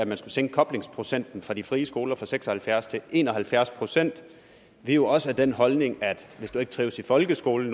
vil sænke koblingsprocenten for de frie skoler fra seks og halvfjerds procent til en og halvfjerds procent vi har også den holdning at hvis du ikke trives i folkeskolen